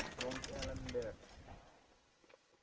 rond alembert